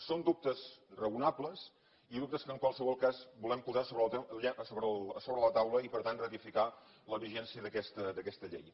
són dubtes raonables i dubtes que en qualsevol cas volem posar sobre la taula i per tant ratificar la vigència d’aquesta llei